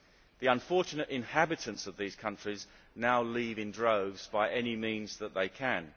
The unfortunate inhabitants of these countries now leave in droves by any means that they can.